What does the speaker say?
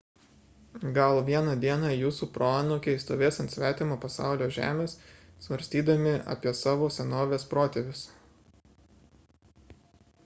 gal vieną dieną jūsų proanūkiai stovės ant svetimo pasaulio žemės svarstydami apie savo senovės protėvius